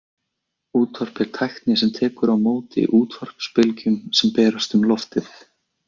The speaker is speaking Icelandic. Útvarp er tæki sem tekur á móti útvarpsbylgjum sem berast um loftið.